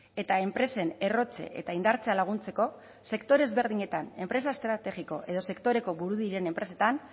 eta enpresen errotze eta indartzea laguntzeko sektore ezberdinetan enpresa estrategiko edo sektoreko buru diren enpresetan